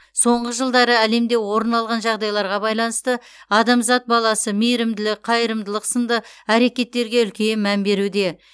соңғы жылдары әлемде орын алған жағдайларға байланысты адамзат баласы мейірімділік қайырымдылық сынды әрекеттерге үлкен мән беруде